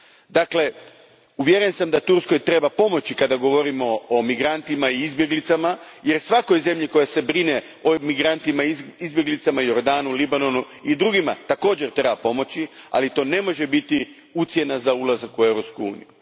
Dakle, uvjeren sam da Turskoj treba pomoći kada govorimo o migrantima i izbjeglicama, jer svakoj zemlji koja se brine o migrantima i izbjeglicama također Jordanu Libanonu i drugima treba pomoći, ali to ne može biti ucjena za ulazak u Europsku uniju.